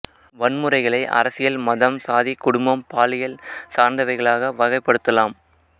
வன்முறைகளை அரசியல் மதம் சாதி குடும்பம் பாலியல் சார்ந்தவகைகளாக வகைப்படுத்தலாம்